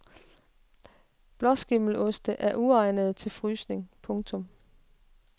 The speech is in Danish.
Blåskimmeloste er uegnede til frysning. punktum